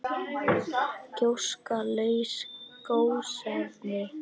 Gjóska- laus gosefni